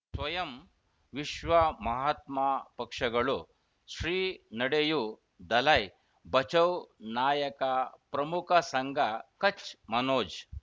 ಸ್ವಯಂ ವಿಶ್ವ ಮಹಾತ್ಮ ಪಕ್ಷಗಳು ಶ್ರೀ ನಡೆಯೂ ದಲೈ ಬಚೌ ನಾಯಕ ಪ್ರಮುಖ ಸಂಘ ಕಚ್ ಮನೋಜ್